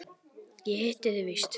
Ég hitti þig víst!